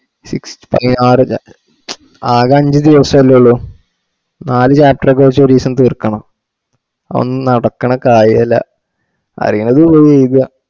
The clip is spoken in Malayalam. six ഏ ആറു അല്ല ആകെ അഞ്ചു ദിവ്സല്ലേ ഉള്ളു നാലു chapter ഒക്കെ വെച്ചു ഒരീസം തീർക്കണ ഒന്നും നടക്കണ കാര്യല്ല ആറീന്നത് പോയി എയ്താ